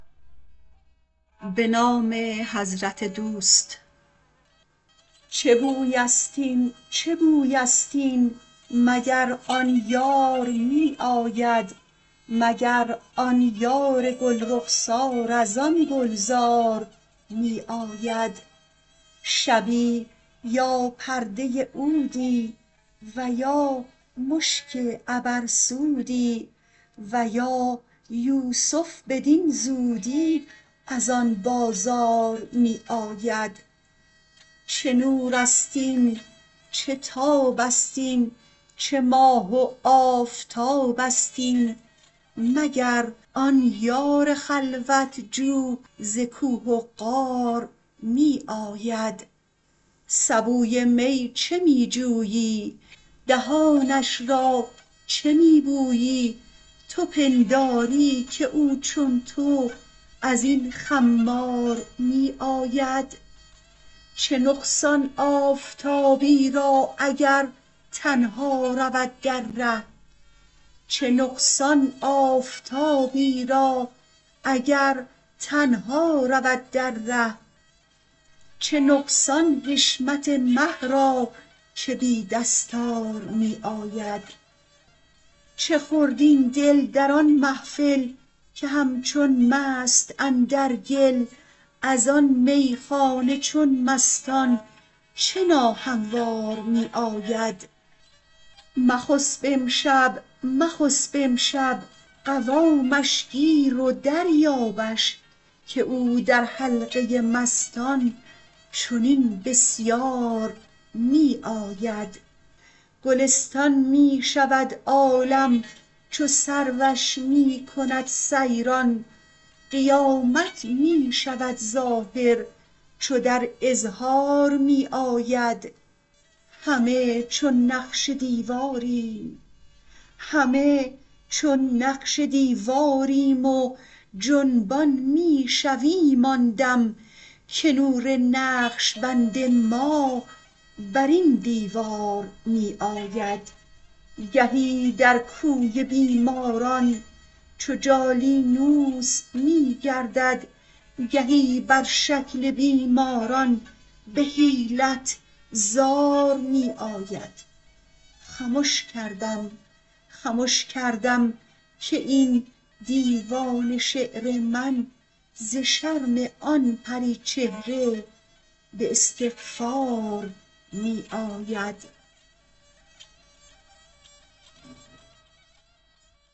چه بویست این چه بویست این مگر آن یار می آید مگر آن یار گل رخسار از آن گلزار می آید شبی یا پرده عودی و یا مشک عبرسودی و یا یوسف بدین زودی از آن بازار می آید چه نورست این چه تابست این چه ماه و آفتابست این مگر آن یار خلوت جو ز کوه و غار می آید سبوی می چه می جویی دهانش را چه می بویی تو پنداری که او چون تو از این خمار می آید چه نقصان آفتابی را اگر تنها رود در ره چه نقصان حشمت مه را که بی دستار می آید چه خورد این دل در آن محفل که همچون مست اندر گل از آن میخانه چون مستان چه ناهموار می آید مخسب امشب مخسب امشب قوامش گیر و دریابش که او در حلقه مستان چنین بسیار می آید گلستان می شود عالم چو سروش می کند سیران قیامت می شود ظاهر چو در اظهار می آید همه چون نقش دیواریم و جنبان می شویم آن دم که نور نقش بند ما بر این دیوار می آید گهی در کوی بیماران چو جالینوس می گردد گهی بر شکل بیماران به حیلت زار می آید خمش کردم خمش کردم که این دیوان شعر من ز شرم آن پری چهره به استغفار می آید